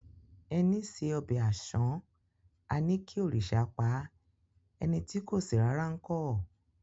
Ẹní se ọbẹ̀ àṣán, a ní kí òrìṣà paá; ẹni tí kò ṣe rárá ńkọ́?